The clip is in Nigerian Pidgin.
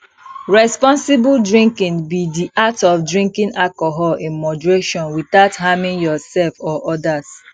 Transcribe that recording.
responsible drinking be di act of drinking alcohol in moderation without harming yourself or odas